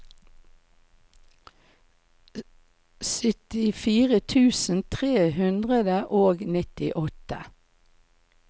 syttifire tusen tre hundre og nittiåtte